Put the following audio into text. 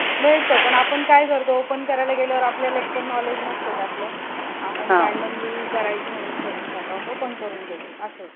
मिळत पण आपण काय करतो open करायला गेल्यावर आपल्याला एक तर knowledge नसतं त्यातल आपण randomly करायचं म्हणून savings account open करून घेतो. अस